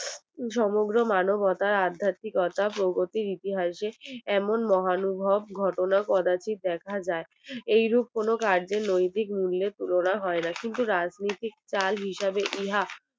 সমগ্র মানবতার আধ্যাত্মিকতার প্রবৃত্তি ইতিহাসে এমন মহানুভব ঘটনা কোডটা দেখা যাই এই রূপ কোনো কার্যের নৈতিক মূল্যের তুলনা হয় না কিন্তু রাজনৈতিক ঢাল হিসাবে ইহা